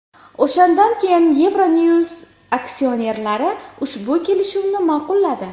O‘shandan keyin Euronews aksionerlari ushbu kelishuvni ma’qulladi.